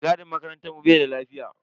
Mai gadin makarantar mu bai da lafiya.